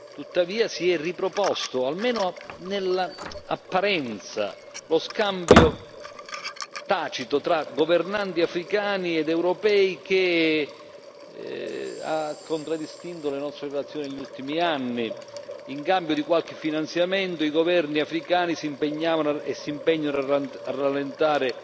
Tuttavia, si è riproposto, almeno nell'apparenza, lo scambio tacito tra governanti africani ed europei che ha contraddistinto le nostre nazioni negli ultimi anni. In cambio di qualche finanziamento, i governi africani si impegnavano e si impegnano a rallentare